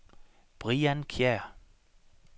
Brian Kjær